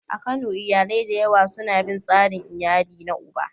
A Kano, iyalai da yawa suna bin tsarin iyali na uba.